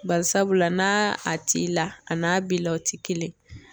Bari sabula n'a a t'i la a n'a b'i la o ti kelen